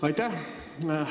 Aitäh!